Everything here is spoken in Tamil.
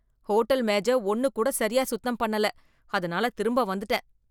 ஹோட்டல் மேஜ ஒன்னுக் கூட சரியா சுத்தம் பண்ணல, அதுனால திரும்ப வந்துட்டேன்.